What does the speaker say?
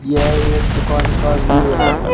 यह एक दुकान का व्यू है।